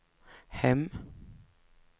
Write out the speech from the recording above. hem